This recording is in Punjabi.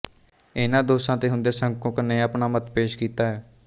ਇਹਨਾਂ ਦੋਸ਼ਾਂ ਤੇ ਹੁੰਦਿਆਂ ਸ਼ੰੰਕੁਕ ਨੇ ਆਪਣਾ ਮਤ ਪੇਸ਼ ਕੀਤਾ ਹੈ